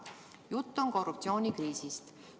Jutt on korruptsioonikriisist.